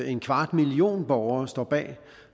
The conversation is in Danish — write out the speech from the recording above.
en kvart million borgere står bag